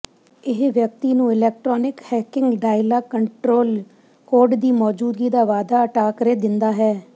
ਇਹ ਵਿਅਕਤੀ ਨੂੰ electronic hacking dialogue control code ਦੀ ਮੌਜੂਦਗੀ ਦਾ ਵਾਧਾ ਟਾਕਰੇ ਦਿੰਦਾ ਹੈ